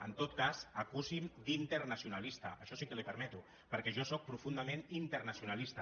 en tot cas acusi’m d’internacionalista això sí que li ho permeto perquè jo sóc profundament internacionalista